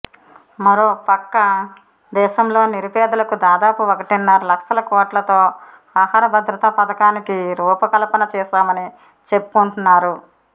మరొకపక్క దేశంలోని నిరుపేదలకు దాదాపు ఒకటిన్నర లక్షలకోట్లతో ఆహార భద్రత పథకానికి రూప కల్పన చేశామని చెప్పుకుంటు న్నారు